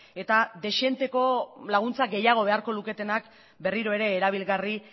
eta dezenteko laguntza gehiago beharko luketenak berriro ere erabilgarri